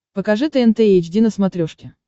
покажи тнт эйч ди на смотрешке